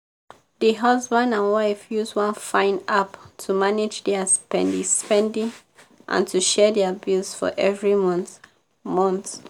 di husband and wife use one fine app to manage dia spendi-spendi and to share dia bills for every month. month.